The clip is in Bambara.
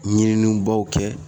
Ɲinini baw kɛ